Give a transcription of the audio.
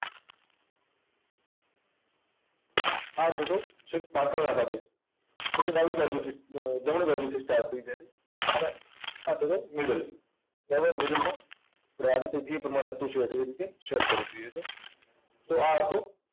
આ છે તો છેક પાછળ આવવા દે. જેને ડાબી બાજુથી અર જમણી બાજુથી start થઇ જાય છે. અને આ છે તે middle થી. તો હવે middle માં તો આ રીતે જે તમારે હતી એ રીતે set કરી દઈએ છે. તો આ હતો